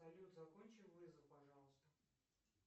салют закончи вызов пожалуйста